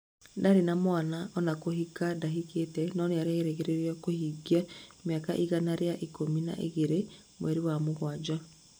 Ndarĩ na mwana ona kũhika ndahikĩte, no nĩerĩgĩrĩrwo kuhĩngia mĩaka igana rĩa ikũmi na igĩrĩ mweri wa mũgwanja